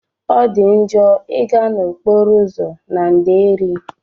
Ọdi njo iga na okporo ụzọ na nderi.